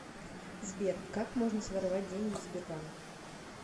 сбер как можно своровать деньги в сбербанке